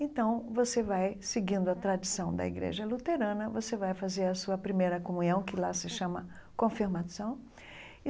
Então, você vai seguindo a tradição da Igreja Luterana, você vai fazer a sua primeira comunhão, que lá se chama Confirmação.